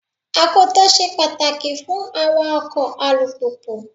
Akoto ṣe pàtàkì fún awa ọkọ̀ alùpùpù.